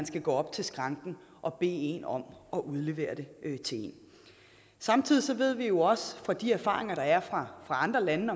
skal gå op til skranken og bede personalet om at udlevere det samtidig ved vi også fra de erfaringer der er fra andre lande